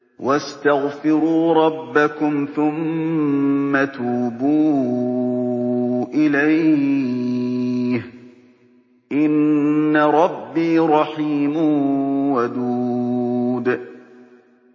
وَاسْتَغْفِرُوا رَبَّكُمْ ثُمَّ تُوبُوا إِلَيْهِ ۚ إِنَّ رَبِّي رَحِيمٌ وَدُودٌ